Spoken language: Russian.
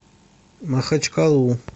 махачкалу